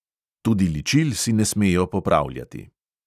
Tudi ličil si ne smejo popravljati.